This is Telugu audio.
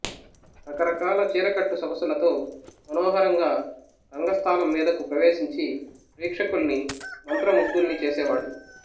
రకరకాల చీరకట్టు సొగసులతో మనోహరంగా రంగస్థానం మీదకు ప్రవేశించి ప్రేక్షకుల్ని మంత్రముగ్ధుల్ని చేశేవాడు